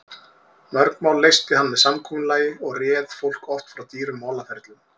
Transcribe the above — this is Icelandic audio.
Mörg mál leysti hann með samkomulagi og réð fólki oft frá dýrum málaferlum.